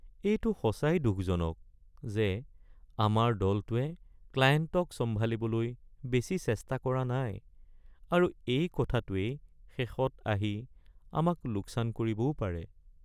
এইটো সঁচাই দুখজনক যে আমাৰ দলটোৱে ক্লায়েণ্টক চম্ভালিবলৈ বেছি চেষ্টা কৰা নাই আৰু এই কথাটোৱেই শেষত আহি আমাক লোকচান কৰিবও পাৰে।